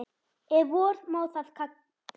Ef vor má þá kalla.